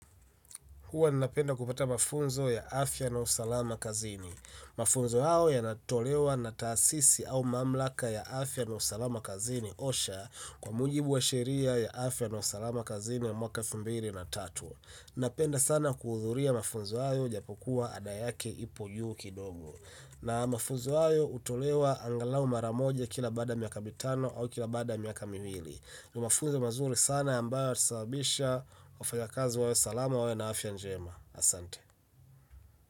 Huwa ninapenda kupata mafunzo ya afya na usalama kazini. Mafunzo hao yanatolewa na taasisi au mamlaka ya afya na usalama kazini osha kwa mujibu wa sheria ya afya na usalama kazini ya mwaka elfumbili na tatu. Ninapenda sana kuhudhuria mafunzo hao japo kuwa ada yake ipo juuki dogo. Na mafunzo hayo hutolewa angalau maramoja kila baadaya miaka mitano au kila baadaya miaka miwili. Nimafunzo mazuri sana ambayo yatasabisha wafanyakazi wawe salama wawe na afya njema Asante.